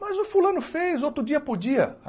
Mas o fulano fez outro dia podia.